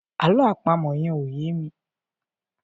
àlọ́ àpamọ̀ yen ọ̀ ye mí